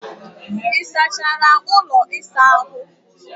Ị sachara ụlọ ịsa ahụ?